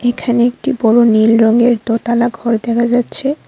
এখানে একটি বড় নীল রঙের দোতলা ঘর দেখা যাচ্ছে।